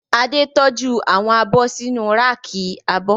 Adé tọ́jú àwọn abọ́ sínu ráàkì abọ́